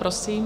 Prosím.